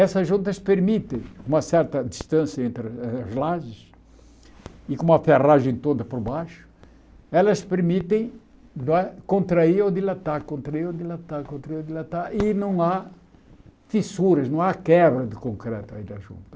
Essas juntas permitem uma certa distância entre eh as lajes e com uma ferragem toda por baixo, elas permitem não é contrair ou dilatar, contrair ou dilatar, contrair ou dilatar, e não há fissuras, não há quebra de concreto aí da junta.